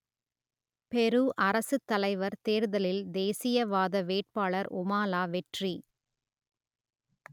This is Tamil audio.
பெரு அரசுத்தலைவர் தேர்தலில் தேசியவாத வேட்பாளர் உமாலா வெற்றி